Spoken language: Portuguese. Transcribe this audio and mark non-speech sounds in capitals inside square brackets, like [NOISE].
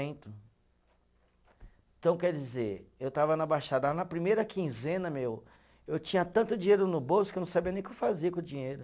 [UNINTELLIGIBLE] Então, quer dizer, eu estava na Baixada, na primeira quinzena, meu, eu tinha tanto dinheiro no bolso que eu não sabia nem o que fazer com o dinheiro.